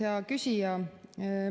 Hea küsija!